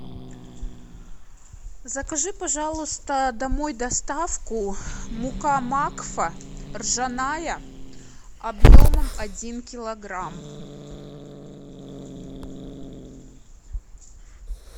закажи пожалуйста домой доставку мука макфа ржаная объемом один килограмм